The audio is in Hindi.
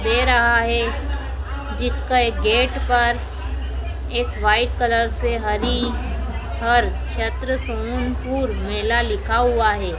दे रहा हैं जिसका एक गेट पर एक व्हाइट कलर से हरिहर क्षेत्र सोमनपुर मेला लिखा हुआ हैं।